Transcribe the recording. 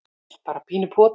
bara pínu pot.